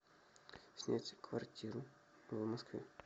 снять квартиру в москве